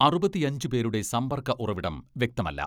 അറുപത്തിയഞ്ച് പേരുടെ സമ്പർക്ക ഉറവിടം വ്യക്തമല്ല.